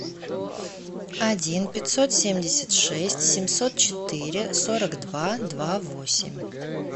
один пятьсот семьдесят шесть семьсот четыре сорок два два восемь